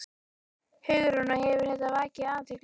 Hugrún: Og hefur þetta vakið athygli?